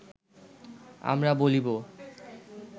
আমরা বলিব